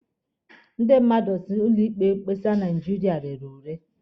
Ndị mmadụ si na ụlọ ikpe mkpesa Naijiria rere ure.